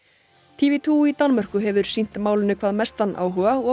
t v tveggja í Danmörku hefur sýnt málinu hvað mestan áhuga og